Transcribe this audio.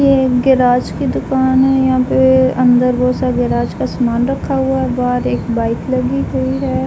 यह एक गैराज की दुकान है। यहाँ पे अंदर बहुत सा गैराज का सामान रखा हुआ है। बाहर एक बाइक लगी हुई है।